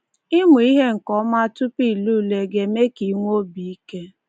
Ịmụ ihe nke ọma tupu i lee ule ga-eme ka i nwee obi ike.